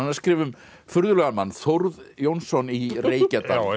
að skrifa um furðulegan mann Þórð Jónsson í Reykjadal